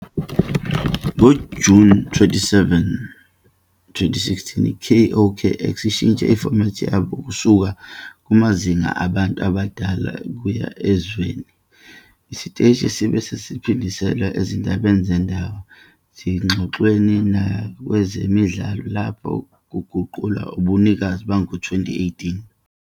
NgoJuni 27, 2016 i-KOKX ishintshe ifomethi yabo kusuka kumazinga abantu abadala kuya ezweni. Isiteshi sabe sesiphindiselwa ezindabeni zendawo, ezingxoxweni nakwezemidlalo lapho kuguqulwa ubunikazi bango-2018.